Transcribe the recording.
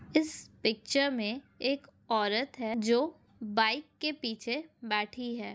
इस पिक्चर में एक औरत हैं जो बाइक के पीछे बैठी है।